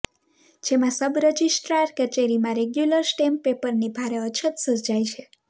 જેમાં sub registrar કચેરીમાં regular stamp પેપરની ભારે અછત સર્જાઈ છે